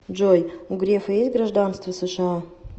джой у грефа есть гражданство сша